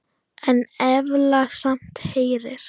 En efla samt herinn.